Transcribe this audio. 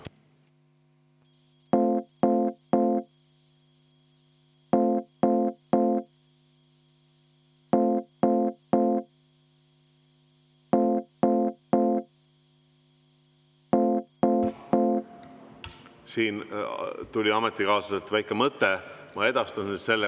Siin tuli ametikaaslaselt väike mõte, ma edastan selle.